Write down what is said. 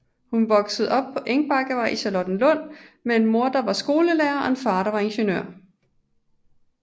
Hun voksede op på Engbakkevej i Charlottenlund med en mor der var skolelærer og en far der var ingeniør